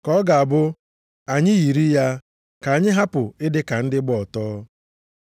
Ka ọ ga-abụ anyị yiri ya, ka anyị hapụ ịdị ka ndị gba ọtọ.